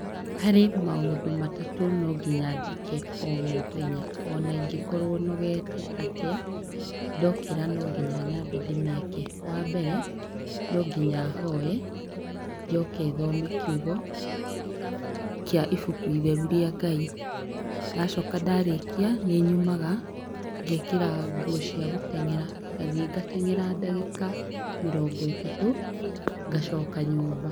Harĩ maũndũ matatũ no nginya njĩke o mũthenya ona ingĩkorwo nogete atĩa, ndokĩra no nginya nyambe ndĩmeke. Wa mbere, no nginya hoe, njoke thome kiugo, kĩa ibuku itheru rĩa Ngai. Ndacoka ndarĩkia, nĩ nyumaga, ngeekĩra nguo cia gũteng'era, ngathiĩ ngateng'era ndagĩka mĩrongo ĩtatũ, ngacoka nyũmba.